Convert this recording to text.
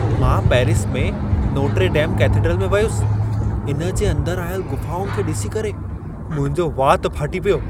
मां पेरिस में Notre Dame cathedral में वियुसि। इन जे अंदर आयल ग़ुफाउनि खे ॾिसी करे मुंहिंजो वात फ़ाटी पियो।